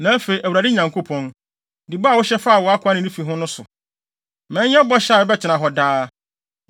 “Na afei, Awurade Nyankopɔn, di bɔ a wohyɛ faa wʼakoa ne ne fi ho no so. Ma ɛnyɛ bɔhyɛ a ɛbɛtena hɔ daa,